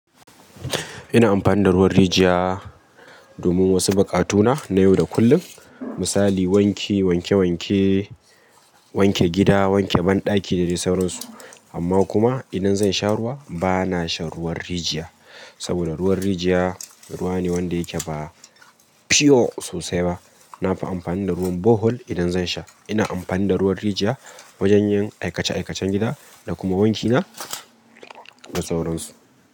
Ina amfani da ruwan rijiya domin wasu buƙatuna na yau da kullum. Misali wanki, wanke wanke, wanke gida, wanke banɗaki da dai sauransu. Amma kuma idan zan sha ruwa bana shan ruwan rijiya. Saboda ruwan rijiya ruwa ne wanda yake ba pure sosai ba. Na fi amfani da ruwan borehole idan zan sha. Ina amfani da ruwan rijiya wajen yin aikace aikacen gida da kuma wanki na da sauransu.